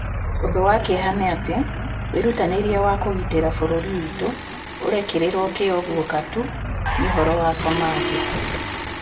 Ũndũ wa kĩeha nĩ atĩ, wĩrutanĩria wa kũgitĩra bũrũri witũ ũrekĩrĩrwo kio guoka tu ni uhoro wa Somalia